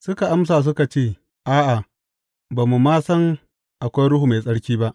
Suka amsa suka ce, A’a, ba mu ma san akwai Ruhu Mai Tsarki ba.